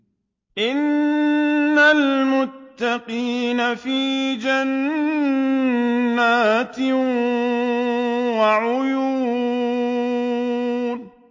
إِنَّ الْمُتَّقِينَ فِي جَنَّاتٍ وَعُيُونٍ